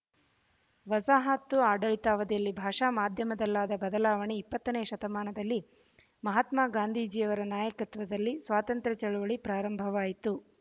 ವಸಾಹತು ಆಡಳಿತಾವಧಿಯಲ್ಲಿ ಭಾಷಾ ಮಾಧ್ಯಮದಲ್ಲಾದ ಬದಲಾವಣೆ ಇಪ್ಪತ್ತನೆ ಶತಮಾನದಲ್ಲಿ ಮಹಾತ್ಮಾ ಗಾಂಧೀಜಿಯವರ ನಾಯಕತ್ವದಲ್ಲಿ ಸ್ವಾತಂತ್ರ ಚಳವಳಿ ಪ್ರಾರಂಭವಾಯಿತು